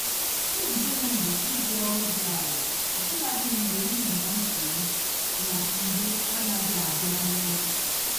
Nzube m bụ iji olu dị ala ọbụladị mgbe m nọ na nsogbu na mgbe anaghị abịa n'oge.